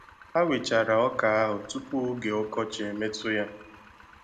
Ha wechara Ọka ahụ tupu oge Ọkọchi emetụ ya.